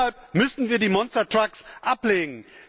Deshalb müssen wir die Monstertrucks ablehnen.